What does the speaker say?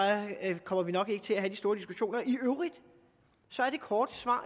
kommer vi nok ikke til at have de store diskussioner i øvrigt er det korte svar